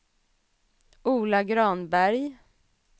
Ola Granberg